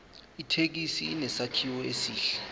ithekisi inesakhiwo esihle